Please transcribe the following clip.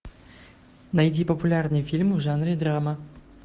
найди популярные фильмы в жанре драма